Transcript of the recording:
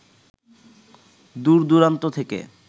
দূর-দূরান্ত থেকে